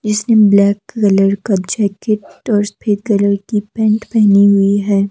इसने black colour का jacket और की पैंट पेहनी हुई है।